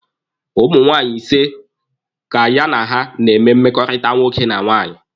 Ụmụ nwaanyị ise ka ya na ha na-eme mmekọrịta nwoke na nwaanyị.